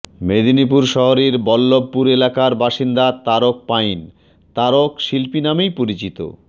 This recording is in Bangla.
মেদিনীপুর শহরের বল্লভপুর এলাকার বাসিন্দা তারক পাইন তারক শিল্পী নামেই পরিচিত